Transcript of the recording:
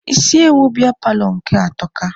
Isi ewu biya paalọ nke atọka.